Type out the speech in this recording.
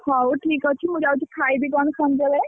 ହଉଠିକ ଅଛି ମୁଁ ଯାଉଛି ଖାଇବି କଣ କୁମବରେ।